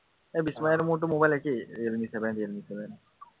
এৰ বিস্ময় আৰু মোৰতো mobile একেই এৰ নিচিনা, ইয়াৰ নিচিনাই।